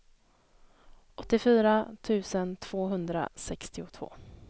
åttiofyra tusen tvåhundrasextiotvå